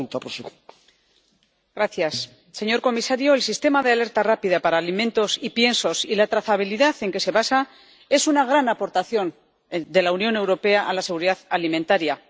Señor presidente, señor comisario, el sistema de alerta rápida para alimentos y piensos y la trazabilidad en que se basa es una gran aportación de la Unión Europea a la seguridad alimentaria.